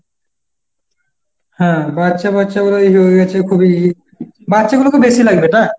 হ্যাঁ, বাচ্চা বাচ্চাগুলো এই হয়ে গেছে খুবই, বাচ্চাগুলোকে বেশি লাগবে না?